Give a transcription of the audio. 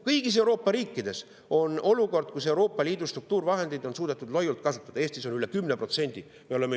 Kõigis Euroopa riikides on olukord, kus Euroopa Liidu struktuurivahendeid on suudetud vaid loiult kasutada, Eestis üle 10%.